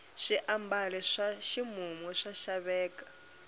swiambalo swa ximumu swa xaveka